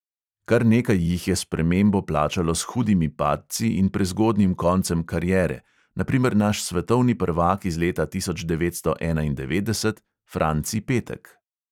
Kar nekaj jih je spremembo plačalo s hudimi padci in prezgodnjim koncem kariere, na primer naš svetovni prvak iz leta tisoč devetsto enaindevetdeset franci petek.